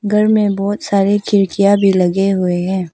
घर मे बहोत सारी खिड़कियां भी लगे हुए हैं।